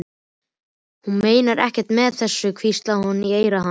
Hún meinar ekkert með þessu, hvíslaði hún í eyra hans.